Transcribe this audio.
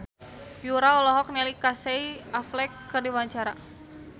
Yura olohok ningali Casey Affleck keur diwawancara